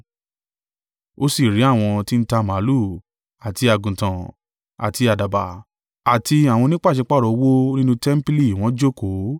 Ó sì rí àwọn tí n ta màlúù, àti àgùntàn, àti àdàbà, àti àwọn onípàṣípàrọ̀ owó nínú tẹmpili wọ́n jókòó: